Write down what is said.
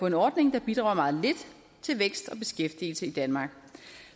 en ordning der bidrager meget lidt til vækst og beskæftigelse i danmark